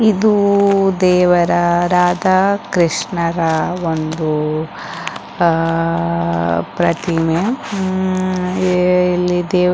ಇದು ದೇವರ ರಾಧಾ ಕೃಷ್ಣರ ಒಂದು ಆ ಆ ಆ ಪ್ರತಿಮೆ ಹ್ಮ್ ಹ್ಮ್ ಹ್ಮ್ ಈ ಇಲ್ಲಿ ದೇವರ--